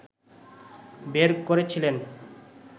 বের করেছিলেন